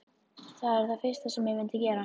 Það er það fyrsta sem ég myndi gera.